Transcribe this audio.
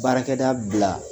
Baarakɛ daa bila